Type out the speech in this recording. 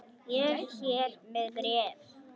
Ég er hér með bréf!